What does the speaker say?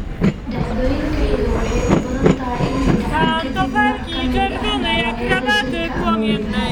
Dhacdooyinka xiga waxay u badan tahay inay dhacaan ka dib nooc ka mid ah dhaawacyada jirka ama walbahaarka.